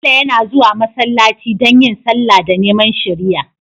Bello yana zuwa masallaci don yin sallah da neman shiriya